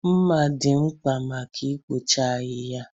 Mmà dị mkpa maka ikpochapụ ahịhịa.